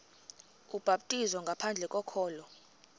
ubhaptizo ngaphandle kokholo